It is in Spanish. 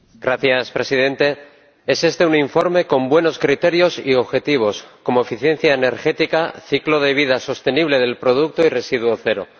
Señor Presidente, es este un informe con buenos criterios y objetivos, como eficiencia energética, ciclo de vida sostenible del producto y residuos cero.